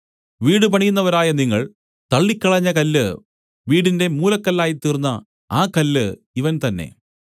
വീടുപണിയുന്നവരായ നിങ്ങൾ തള്ളിക്കളഞ്ഞ കല്ല് വീടിന്റെ മൂലക്കല്ലായിത്തീർന്ന ആ കല്ല് ഇവൻ തന്നേ